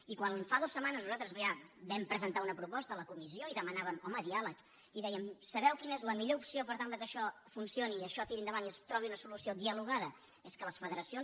i quan fa dues setmanes nosaltres ja vam presentar una proposta a la comis·sió i demanàvem home diàleg i dèiem sabeu quina és la millor opció per tal que això funcioni i això tiri endavant i es trobi una solució dialogada és que les federacions